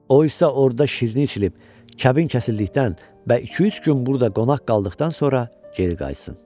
O isə orada şirni içilib, kəbin kəsildikdən və iki-üç gün burada qonaq qaldıqdan sonra geri qayıtsın.